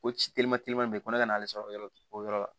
O ci telima teliman i ko ne ka n'ale sɔrɔ yɔrɔ o yɔrɔ la